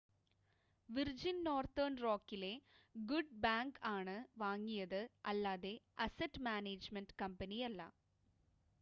virgin Northern റോക്കിലെ good bank ആണ് വാങ്ങിയത് അല്ലാതെ അസറ്റ് മാനേജ്മെൻ്റ് കമ്പനിയല്ല